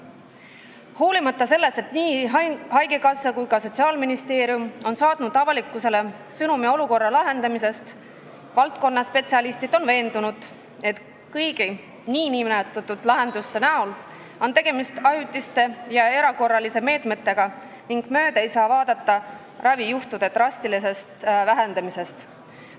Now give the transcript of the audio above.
Hoolimata sellest, et nii haigekassa kui ka Sotsiaalministeerium on saatnud avalikkusele sõnumi olukorra lahendamisest, on valdkonna spetsialistid veendunud, et kõik nn lahendused on ajutised ja erakorralised meetmed ning mööda ei saa vaadata ravijuhtude drastilisest vähendamisest.